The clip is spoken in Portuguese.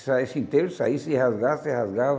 Se saísse inteiro, saísse e rasgasse, rasgava.